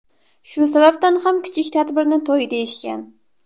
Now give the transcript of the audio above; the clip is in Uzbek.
Shu sababdan ham kichik tadbirni to‘y deyishgan.